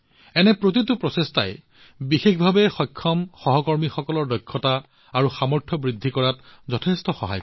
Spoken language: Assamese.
এনে ধৰণৰ প্ৰতিটো প্ৰচেষ্টাই দিব্যাংগ সংগীসকলৰ দক্ষতা আৰু সামৰ্থ্য বৃদ্ধিত যথেষ্ট সহায় কৰিব